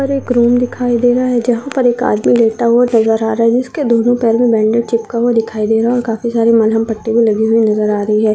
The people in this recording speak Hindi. हर एक रूम दिखाई दे रहा है जहा पर एक आदमी लेटा हुआ नजर आ रहा जिसके दोनों पैर में बैंडेज चिपका हुआ दिखाई दे रहा काफी सारी मलम पट्टी भी लगी हुई नजर आ रही है।